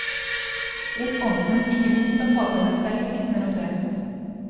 Responsen, ikke minst fra taterne selv, vitner om det.